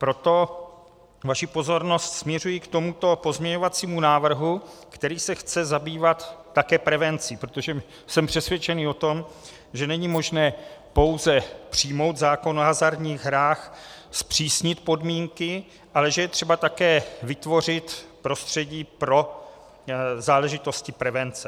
Proto vaši pozornost směřuji k tomuto pozměňovacímu návrhu, který se chce zabývat také prevencí, protože jsem přesvědčen o tom, že není možné pouze přijmout zákon o hazardních hrách, zpřísnit podmínky, ale že je třeba také vytvořit prostředí pro záležitosti prevence.